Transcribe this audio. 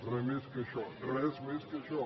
res més que això res més que això